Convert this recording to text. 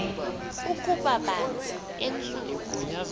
ukuba banzi entsundu